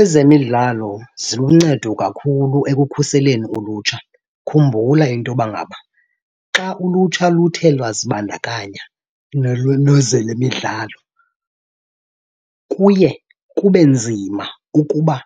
Ezemidlalo ziluncedo kakhulu ekukhuseleni ulutsha. Khumbula into yoba ngaba xa ulutsha luthe lwazibandakanya le midlalo, kuye kube nzima ukuba